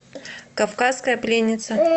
кавказская пленница